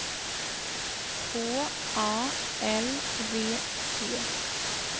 H A L V T